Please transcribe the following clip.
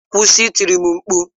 Kwụsị itiri m mkpu!